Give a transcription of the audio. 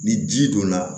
Ni ji donna